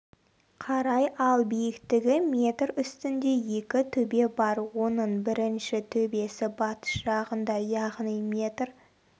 қарай ал биіктігі метр үстінде екі төбе бар оның бірінші төбесі батыс жағында яғни метр